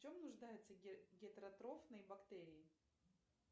в чем нуждаются гетеротрофные бактерии